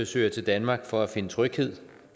søger til danmark for at finde tryghed